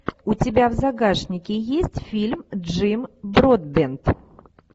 у тебя в загашнике есть фильм джим бродбент